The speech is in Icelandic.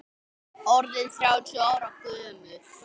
Orðinn þrjátíu ára gömul.